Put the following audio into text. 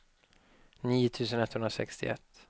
nio tusen etthundrasextioett